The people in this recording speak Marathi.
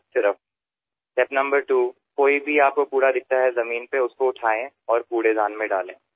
दुसरा टप्पा म्हणजे जिथे कुठे आपल्याला कचरा दिसेल जमिनीवर पडलेला तो उचलावा आणि कचरापेटीत टाकावा